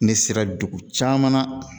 Ne sera dugu caman na